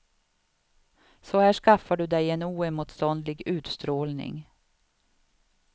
Så här skaffar du dig en oemotståndlig utstrålning.